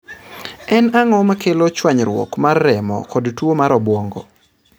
En ang'o makelo chwanyruok mar remo kod tuwo mar obwongo?